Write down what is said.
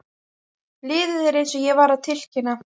Liðið er eins og ég var að tilkynna.